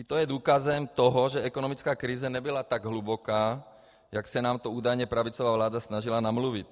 I to je důkazem toho, že ekonomická krize nebyla tak hluboká, jak se nám to údajně pravicová vláda snažila namluvit.